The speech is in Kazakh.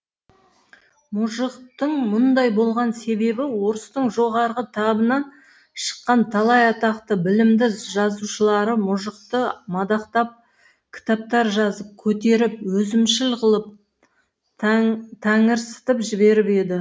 мұжықтың мұндай болған себебі орыстың жоғарғы табынан шыққан талай атақты білімді жазушылары мұжықты мадақтап кітаптар жазып көтеріп өзімшіл қылып тәңірсітіп жіберіп еді